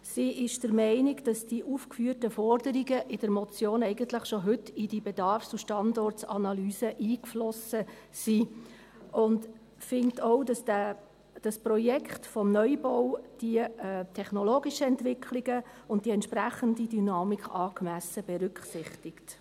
Sie ist der Meinung, dass die aufgeführten Forderungen in der Motion eigentlich schon heute in die Bedarfs- und Standortanalyse eingeflossen sind, und findet auch, dass das Projekt des Neubaus die technologischen Entwicklungen und die entsprechende Dynamik angemessen berücksichtigt.